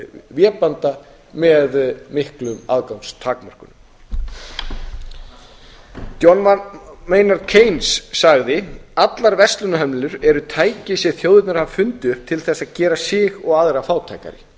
vébanda með miklum aðgangstakmörkunum john maynard keynes sagði allar verslunarhömlur eru tæki sem þjóðirnar hafa fundið upp til þess að gera sig og aðra fátækari